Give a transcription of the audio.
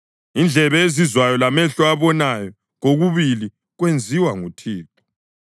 Indlebe ezizwayo lamehlo abonayo kokubili kwenziwa nguThixo.